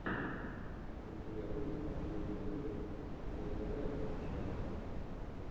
у тебя будет последний выпуск зэгрэгченнэл